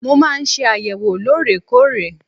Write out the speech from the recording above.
Mo máa ń ṣe àyẹ̀wò lóòrèkóòrè.